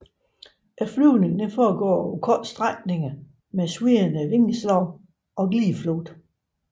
Flyvningen foregår over korte strækninger med svirrende vingeslag og glideflugt